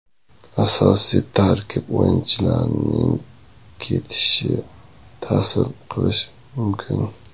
Asosiy tarkib o‘yinchilarining ketishi ta’sir qilishi mumkin.